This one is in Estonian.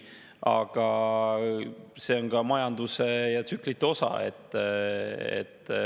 Aga see on majanduse tsüklite osa.